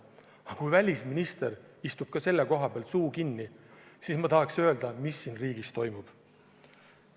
Aga kui ka välisminister istub ja hoiab suu kinni, siis ma tahaks küsida, mis siin riigis toimub.